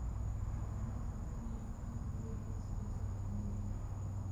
Beeralayda waa in ay aqoon u leeyihiin isbeddelka cimilada.